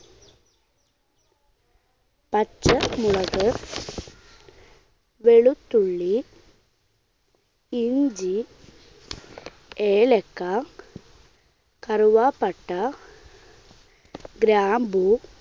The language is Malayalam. പച്ചമുളക്, വെളുത്തുള്ളി, ഇഞ്ചി, ഏലക്ക, കറുവാപ്പട്ട, ഗ്രാമ്പൂ,